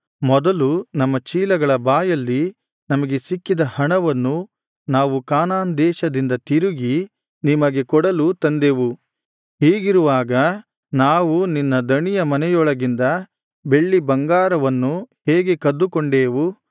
ಮೊದಲು ನಮ್ಮ ಚೀಲಗಳ ಬಾಯಲ್ಲಿ ನಮಗೆ ಸಿಕ್ಕಿದ ಹಣವನ್ನು ನಾವು ಕಾನಾನ್ ದೇಶದಿಂದ ತಿರುಗಿ ನಿಮಗೆ ಕೊಡಲು ತಂದೆವು ಹೀಗಿರುವಾಗ ನಾವು ನಿನ್ನ ದಣಿಯ ಮನೆಯೊಳಗಿಂದ ಬೆಳ್ಳಿ ಬಂಗಾರವನ್ನು ಹೇಗೆ ಕದ್ದುಕೊಂಡೇವು